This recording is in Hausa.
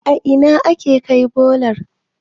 a Ina ake Kai bolar?